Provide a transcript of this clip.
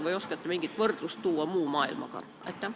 Kas te oskate tuua mingit võrdlust muu maailmaga?